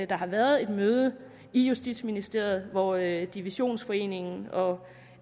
der har været et møde i justitsministeriet hvorefter divisionsforeningen og